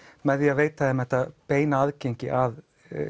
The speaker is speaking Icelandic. með því að veita þeim þetta beina aðgengi að